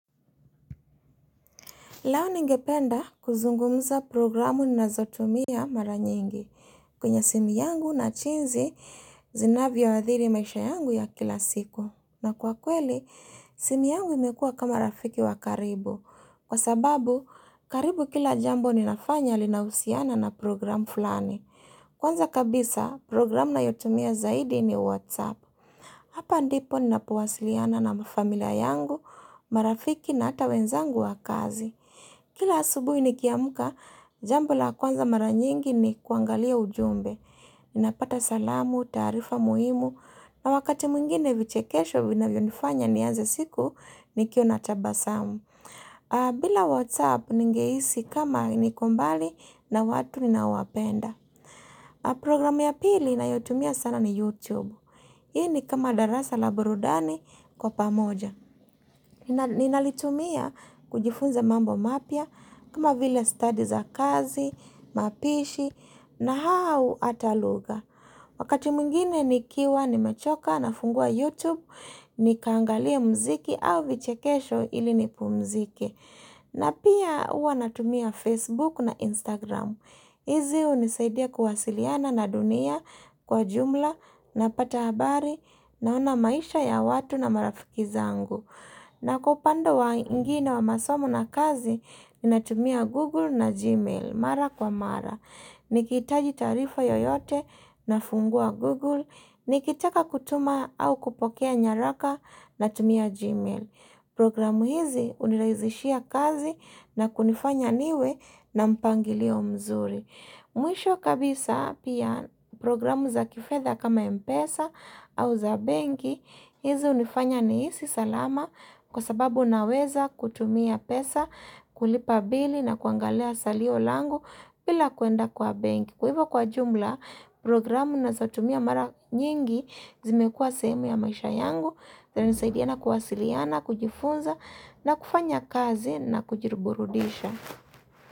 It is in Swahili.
Lao ningependa kuzungumza programu nazotumia mara nyingi kwenye simi yangu na jinsi zinavyo adhiri maisha yangu ya kila siku. Na kwa kweli, simu yangu imekua kama rafiki wa karibu. Kwa sababu, karibu kila jambo ninafanya linausiana na programu fulani. Kwanza kabisa, programu nayotumia zaidi ni WhatsApp. Hapa ndipo ninapowasiliana na mafamilia yangu, marafiki na ata wenzangu wa kazi. Kila asubuhi nikiamka, jambo la kwanza mara nyingi ni kuangalia ujumbe. Ninapata salamu, taarifa muhimu, na wakati mwingine vichekesho vinavyonifanya niaze siku nikiwa natabasamu. Bila WhatsApp ningehisi kama niko mbali na watu ninaowapenda. Programu ya pili ninayotumia sana ni YouTube. Hii ni kama darasa la burudani kwa pamoja. Ninalitumia kujifunza mambo mapya kama vile stadi za kazi, mapishi na hau ata lugha Wakati mwngine nikiwa, nimechoka, nafungua YouTube, nikaangalia mziki au vichekesho ili nipumzike na pia huwa natumia Facebook na Instagram hizi hunisaidia kuwasiliana na dunia kwa jumla napata habari naona maisha ya watu na marafiki zangu na kupande wa ingine wa masomo na kazi, ninatumia Google na Gmail, mara kwa mara. Nikihitaji taarifa yoyote, nafungua Google, nikitaka kutuma au kupokea nyaraka, natumia Gmail. Programu hizi hunirahisishia kazi na kunifanya niwe na mpangilio mzuri. Mwisho kabisa pia programu za kifedha kama mpesa au za benki, hizi hunifanya nihisi salama kwa sababu naweza kutumia pesa, kulipa bili na kuangalia salio langu bila kuenda kwa benki. Kwa hivyo kwa jumla, programu nazotumia mara nyingi zimekua sehemu ya maisha yangu, zinasaidiana kuwasiliana, kujifunza na kufanya kazi na kujiburudisha.